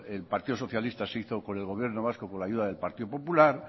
el partido socialista se hizo con el gobierno vasco con la ayuda del partido popular